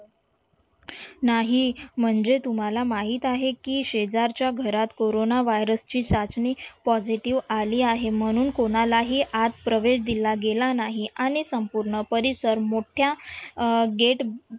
नाही म्हणजे तुम्हाला माहीत आहे की शेजारच्या घरात कोरोना virus ची चाचणी positive आली आहे म्हणून कोणालाही आत प्रवेश दिल गेला नाही आणि संपूर्ण परिसर मोठ्या अं gate